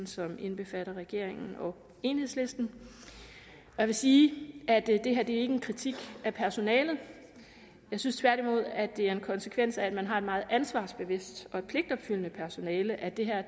som indbefatter regeringen og enhedslisten jeg vil sige at det er en kritik af personalet jeg synes tværtimod at det er en konsekvens af at man har et meget ansvarsbevidst og pligtopfyldende personale at det her